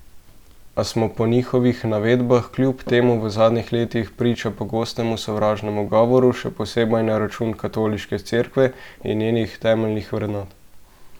A smo po njihovih navedbah kljub temu v zadnjih letih priča pogostemu sovražnemu govoru, še posebej na račun Katoliške Cerkve in njenih temeljnih vrednot.